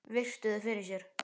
Virti þau fyrir sér.